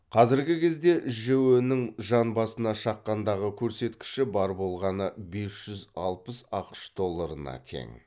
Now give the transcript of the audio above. қазіргі кезде жіө нің жан басына шаққандағы көрсеткіші бар болғаны бес жүз алпыс ақш долларына тең